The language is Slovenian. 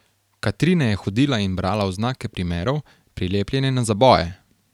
Katrine je hodila in brala oznake primerov, prilepljene na zaboje.